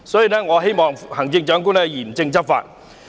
因此，我希望行政長官嚴正執法。